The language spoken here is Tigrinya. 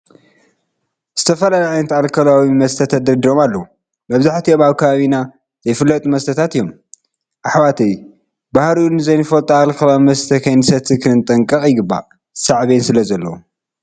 ዝተፈላለዩ ዓይነታት ኣልኮላዊ መስተ ተደርዲሮም ኣለዉ፡፡ መብዛሕትኦም ኣብ ከባቢና ዘይፍለጡ መስተታት እዮም፡፡ ኣሕዋተይ ባህሪኡ ዘይንፈልጦ ኣልኮላዊ መስተ ከይንሰቲ ክንጠንቀቕ ይግባእ፣ ሳዕቤን ስለዘለዎ፡፡